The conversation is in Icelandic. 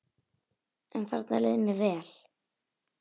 En þarna leið mér vel.